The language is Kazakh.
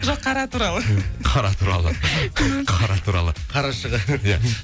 жоқ қара туралы қара туралы қара туралы қарашығы иә